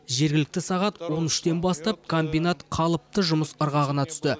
жергілікті сағат он үштен бастап комбинат қалыпты жұмыс ырғағына түсті